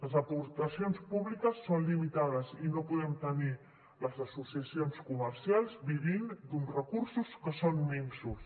les aportacions públiques són limitades i no podem tenir les associacions comercials vivint d’uns recursos que són minsos